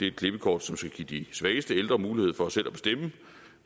et klippekort som skal give de svageste ældre mulighed for selv at bestemme